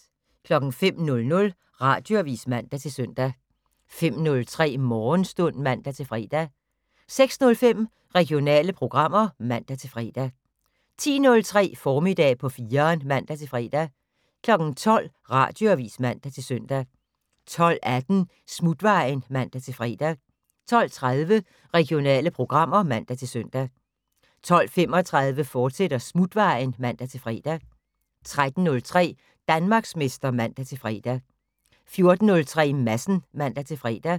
05:00: Radioavis (man-søn) 05:03: Morgenstund (man-fre) 06:05: Regionale programmer (man-fre) 10:03: Formiddag på 4'eren (man-fre) 12:00: Radioavis (man-søn) 12:18: Smutvejen (man-fre) 12:30: Regionale programmer (man-søn) 12:35: Smutvejen, fortsat (man-fre) 13:03: Danmarksmester (man-fre) 14:03: Madsen (man-fre)